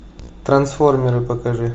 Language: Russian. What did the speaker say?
трансформеры покажи